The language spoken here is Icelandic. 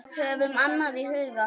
Höfum annað í huga.